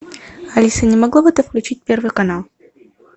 алиса не могла бы ты включить первый канал